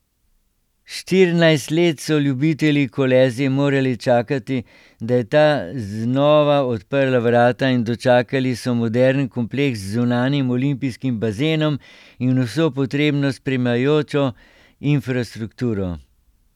Štirinajst let so ljubitelji Kolezije morali čakati, da je ta znova odprla vrata in dočakali so moderen kompleks z zunanjim olimpijskim bazenom in vso potrebno spremljajočo infrastrukturo.